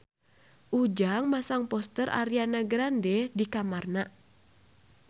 Ujang masang poster Ariana Grande di kamarna